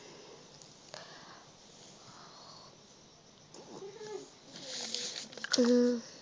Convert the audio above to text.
উম